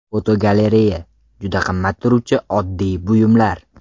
Fotogalereya: Juda qimmat turuvchi oddiy buyumlar.